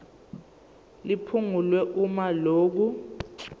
liphungulwe uma lokhu